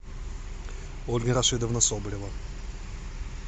ольга рашидовна соболева